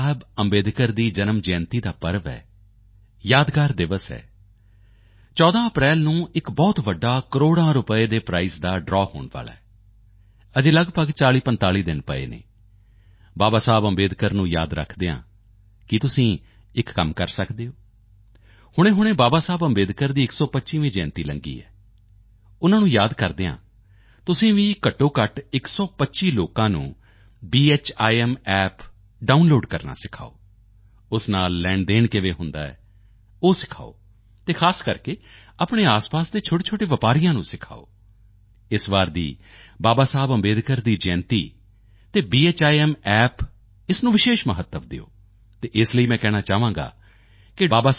ਬਾਬਾ ਸਾਹਿਬ ਅੰਬੇਡਕਰ ਦੀ ਜਨਮ ਜਯੰਤੀ ਦਾ ਪਰਵ ਹੈ ਯਾਦਗਾਰ ਦਿਵਸ ਹੈ 14 ਅਪ੍ਰੈਲ ਨੂੰ ਇਕ ਬਹੁਤ ਵੱਡਾ ਕਰੋੜਾਂ ਰੁਪਏ ਦੇ ਪ੍ਰਾਈਸ ਦਾ ਡਰਾਵ ਹੋਣ ਵਾਲਾ ਹੈ ਅਜੇ ਲਗਭਗ 4045 ਦਿਨ ਪਏ ਹਨ ਬਾਬਾ ਸਾਹਿਬ ਅੰਬੇਡਕਰ ਨੂੰ ਯਾਦ ਰੱਖਦੇ ਹੋਏ ਕੀ ਤੁਸੀਂ ਇਕ ਕੰਮ ਕਰ ਸਕਦੇ ਹੋ ਹੁਣੇਹੁਣੇ ਬਾਬਾ ਸਾਹਿਬ ਅੰਬੇਡਕਰ ਦੀ 125ਵੀਂ ਜਯੰਤੀ ਲੰਘੀ ਹੈ ਉਨ੍ਹਾਂ ਨੂੰ ਯਾਦ ਕਰਦੇ ਹੋਏ ਤੁਸੀਂ ਵੀ ਘੱਟੋਘੱਟ 125 ਲੋਕਾਂ ਨੂੰ ਭੀਮ App ਡਾਊਨਲੋਡ ਕਰਨਾ ਸਿਖਾਓ ਉਸ ਨਾਲ ਲੈਣਦੇਣ ਕਿਵੇਂ ਹੁੰਦਾ ਹੈ ਉਹ ਸਿਖਾਓ ਅਤੇ ਖਾਸ ਕਰਕੇ ਆਪਣੇ ਆਸਪਾਸ ਦੇ ਛੋਟੇਛੋਟੇ ਵਪਾਰੀਆਂ ਨੂੰ ਸਿਖਾਓ ਇਸ ਵਾਰ ਦੀ ਬਾਬਾ ਸਾਹਿਬ ਅੰਬੇਡਕਰ ਦੀ ਜਯੰਤੀ ਅਤੇ ਭੀਮ App ਇਸ ਨੂੰ ਵਿਸ਼ੇਸ਼ ਮਹੱਤਵ ਦਿਓ ਅਤੇ ਇਸ ਲਈ ਮੈਂ ਕਹਿਣਾ ਚਾਹਾਂਗਾ ਕਿ ਡਾ